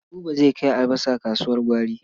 Buba zai kai albasa kasuwar gwari.